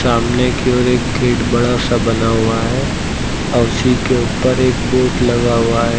सामने की ओर एक गेट बड़ा सा बना हुआ है औऱ उसी के उपर एक बोर्ड लगा हुआ है।